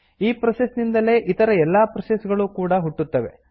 ಈ ಪ್ರೋಸೆಸ್ ನಿಂದಲೇ ಇತರ ಎಲ್ಲಾ ಪ್ರೋಸೆಸ್ ಗಳೂ ಕೂಡಾ ಹುಟ್ಟುತ್ತವೆ